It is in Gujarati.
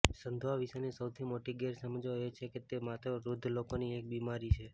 સંધિવા વિશેની સૌથી મોટી ગેરસમજો એ છે કે તે માત્ર વૃદ્ધ લોકોની એક બીમારી છે